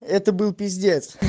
это был пиздец